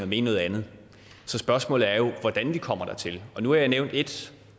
mene noget andet så spørgsmålet er jo hvordan vi kommer dertil nu har jeg nævnt et